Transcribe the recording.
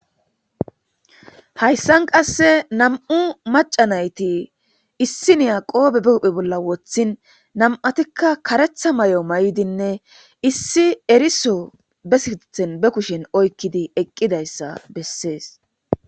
hayssan qasse nam7u maca nayti issi niya qoobe be uphe bolla woththin nam7atikka karetha may7o may7dinne issi eriso be sithen be kushen oykkidi eqqidayssa bessees